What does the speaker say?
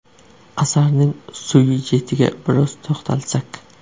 Asarning syujetiga biroz to‘xtalsak.